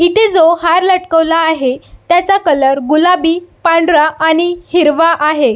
इथे जो हार लटकवला आहे त्याचा कलर गुलाबी पांढरा आणि हिरवा आहे.